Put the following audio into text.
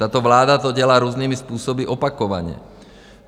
Tato vláda to dělá různými způsoby, opakovaně.